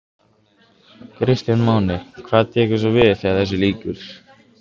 Kristján Már: Hvað tekur svo við þegar þessu lýkur?